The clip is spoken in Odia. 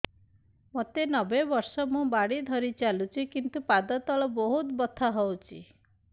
ମୋତେ ନବେ ବର୍ଷ ମୁ ବାଡ଼ି ଧରି ଚାଲୁଚି କିନ୍ତୁ ପାଦ ତଳ ବହୁତ ବଥା ହଉଛି